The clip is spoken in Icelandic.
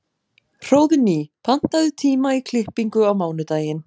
Hróðný, pantaðu tíma í klippingu á mánudaginn.